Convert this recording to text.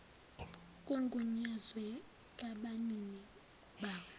kugunyazwe ngabanini bawo